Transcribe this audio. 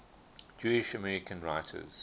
jewish american writers